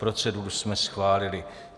Proceduru jsme schválili.